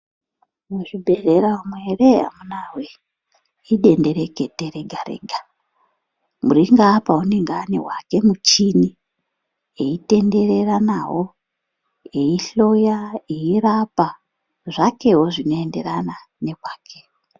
Muzvibhendleya umwu eree amunaa woyee edenderekete rega rega. Uri ngaapa unenge ane wake muchini eitenderera nawo. Eihloya, eirapa zvake wo zvinoenderana nekwake.